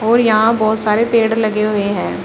और यहां बहोत सारे पेड़ लगे हुए हैं।